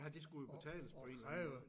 Ja det skulle jo betales på en eller anden måde